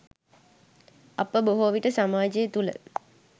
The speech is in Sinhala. අප බොහෝවිට සමාජය තුළ